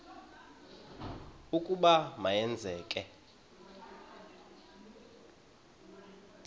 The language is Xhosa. ukuba ma yenzeke